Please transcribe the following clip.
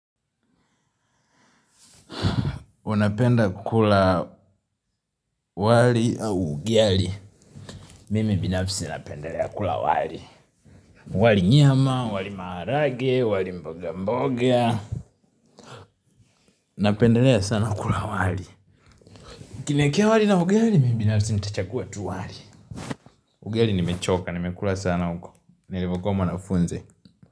Unapenda kula wali au ugali. Mimi binafsi napendelea kula wali. Wali nyama, wali maharagwe, wali mboga mboga. Napendelea sana kukula wali. Ukiniwekea wali na ugali, mimi binafsi nitachagua tu wali. Ugali nimechoka, nimekula sana huku. Nilipokuwa mwanafunzi.